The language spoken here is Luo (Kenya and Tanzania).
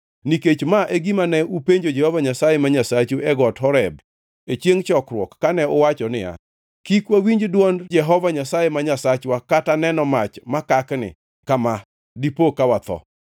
Nikech ma e gima ne upenjo Jehova Nyasaye ma Nyasachu e got Horeb e chiengʼ chokruok kane uwacho niya, “Kik wawinj dwond Jehova Nyasaye ma Nyasachwa kata neno mach makakni kama dipo ka watho.”